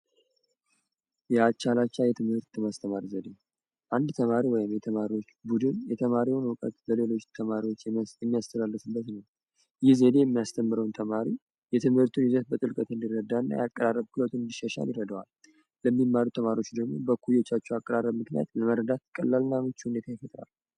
የአቻ ለአቻ የትምህርት የማስተማር ዘዴ አንድ ተማሪ ወይም የተማሪወች ቡድን የተማሪወችን የተማሪዉን እዉቀት ለተማሪወች የሚያስተላልፍበት ነዉ። ይህ ዘዴ የሚያስተምረዉን የትምህርቱን ይዘት በጥልቅ እንዲረዳና የአቀባበሉን ክህሎቱን እንዲሸሻል ይረደዋል ለሚማሩ ተማሪወች ደግሞ በእኩዮቻቸዉ አማካኝነት ለመረዳት ቀላል እና ምች ሁኔታ ይፈጥራል።